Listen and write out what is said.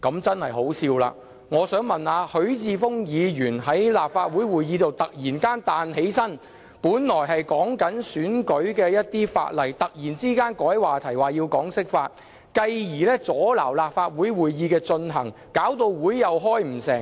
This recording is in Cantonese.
實在太可笑了，我想問問許智峯議員，之前他在立法會會議上突然站起來轉換話題，本來討論的是選舉法例，卻被他改為討論人大釋法，繼而阻撓立法會會議進行，令會議開不成。